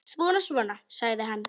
Svona, svona, sagði hann.